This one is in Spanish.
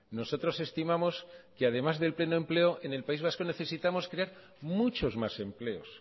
nosotros estimamos que además del pleno empleo en el país vasco necesitamos crear muchos más empleos